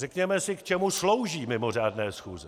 Řekněme si, k čemu slouží mimořádné schůze.